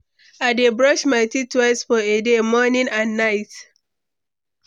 I dey brush my teeth twice for a day, morning and night.